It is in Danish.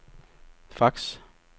fax